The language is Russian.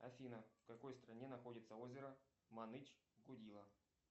афина в какой стране находится озеро маныч гудило